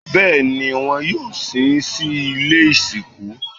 Bẹ́ẹ̀ni, wọn yóò sin sí ilé ìsìnkú